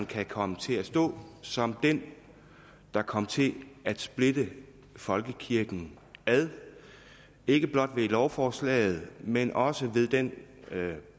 kan komme til at stå som den der kom til at splitte folkekirken ad ikke blot ved lovforslaget men også ved den